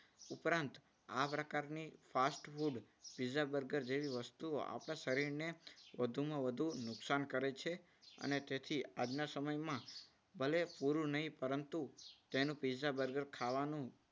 ઉપરાંત આ પ્રકારની fast food પિઝા બર્ગર જેવી વસ્તુઓ આપણા શરીરને વધુમાં વધુ નુકસાન કરે છે. અને તેથી આજના સમયમાં ભલે પૂરું નહીં પરંતુ તેનું પીઝા બર્ગર ખાવાનું